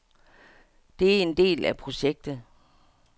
Det er en del af projektet.